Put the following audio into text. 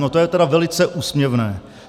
No, to je tedy velice úsměvné.